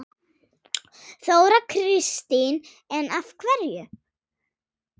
Þóra Kristín: En af hverju?